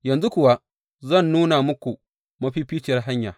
Yanzu kuwa zan nuna muku mafificiyar hanya.